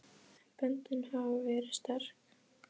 En böndin hafa verið sterk.